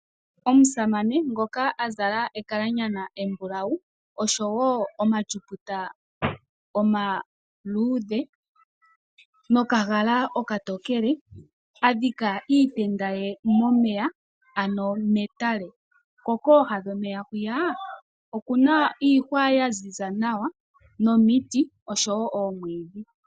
Omusamane ngoka azala ekalanyana embulawu oshowo omatyuputa omaludhe nokagala okatokele adhika iitenda ye momeya ano metale ko koha dhomeya hwiya okuna iihwa yanzinza nawa nomiti osho wo omwidhi.